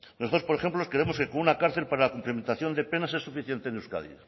nosotros por ejemplo creemos que con una cárcel para la cumplimentación de penas es suficiente en euskadi